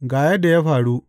Ga yadda ya faru.